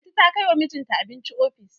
Lanti ta kai wa mijinta abinci ofis.